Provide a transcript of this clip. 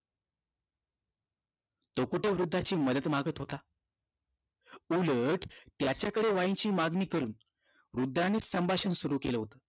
डोकोटो वृद्धाची मदत मागत होता. उलट त्याच्याकडे wine ची मागणी करून वृद्धानेच संभाषण सुरू केलं होतं.